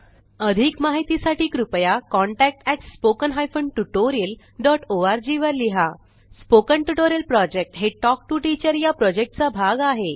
अधिक माहितीसाठी कृपया contact at spoken hyphen tutorial dot O R G वर लिहा स्पोकन ट्युटोरियल प्रॉजेक्ट हे टॉक टू टीचर या प्रॉजेक्टचा भाग आहे